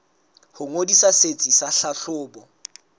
ho ngodisa setsi sa tlhahlobo